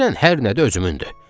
Denən hər nədir özümündür.